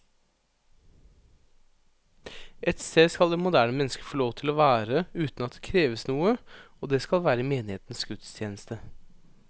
Ett sted skal det moderne mennesket få lov til å være uten at det kreves noe, og det skal være i menighetens gudstjeneste.